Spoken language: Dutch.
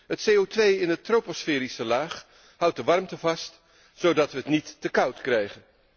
Het CO in de troposferische laag houdt de warmte vast zodat we het niet te koud krijgen.